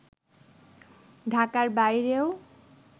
ঢাকার বাইরেও